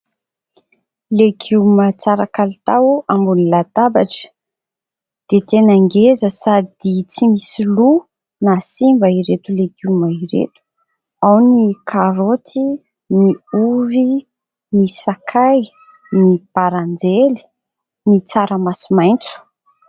Legioma tsara kalitao ambony latabatra. Dia tena ngeza sady tsy misy loa na simba ireto legioma ireto. Ao ny karoty, ny ovy, ny sakay, ny bonjour, ny tsaramaso maitso.